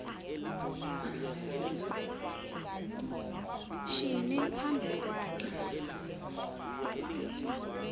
shinyi phambi kwakhe